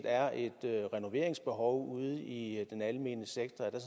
er et renoveringsbehov ude i den almene sektor at der